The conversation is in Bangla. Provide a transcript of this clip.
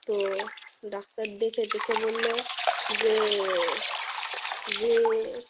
তো ডাক্তার দেখে টেকে বলল যে যে,